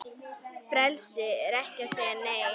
Frelsi er að segja Nei!